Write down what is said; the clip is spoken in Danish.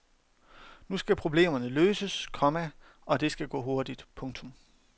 Nu skal problemerne løses, komma og det skal gå hurtigt. punktum